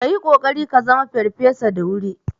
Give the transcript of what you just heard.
Ka yi kokari ka zama farfesa da wuri